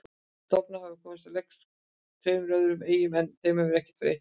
Stofnar hafa komist á legg á tveimur öðrum eyjum en þeim hefur verið eytt jafnóðum.